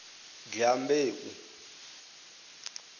dyambeu